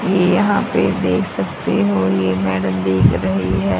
ये यहां पे देख सकते हो ये मैडम दिख रही है।